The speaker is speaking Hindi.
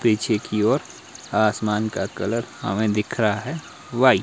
पीछे की और आसमान का कलर हमें दिख रहा है वाइट --